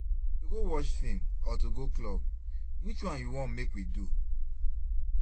To go watch film or to go club, which one you wan make we do?